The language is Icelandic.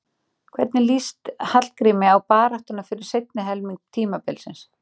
Hvernig lýst Hallgrími á baráttuna fyrir seinni helming tímabilsins?